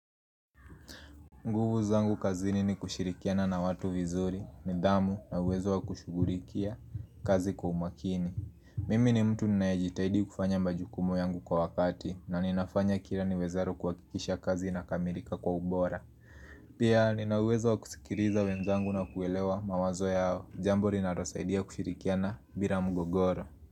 Nguvu zangu kazini ni kushirikiana na watu vizuri nidhamu na uwezo wa kushughulikia kazi kwa umakini Mimi ni mtu ninayejitahidi kufanya majukumu yangu kwa wakati na ninafanya kila niwezalo kuhakikisha kazi inakamilika kwa ubora Pia nina uwezo wa kusikiliza wenzangu na kuelewa mawazo yao Jambo linalosaidia kushirikiana bila mgogoro.